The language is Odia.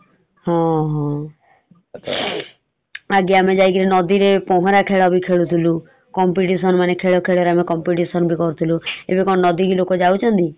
ହଁ ହଁ ଆଗେ ଆମେ ଯାଇକିରି ନଦୀ ରେ ପହଁରା ଖେଳାବି ଖେଳୁଥିଲୁ competition ମାନେ ଆମେ ଖେଳର ବି competition ବି କରୁଥିଲୁ । ଏବେ କଣ ନଦୀକୁ ଲୋକ ଯାଉଛନ୍ତି ?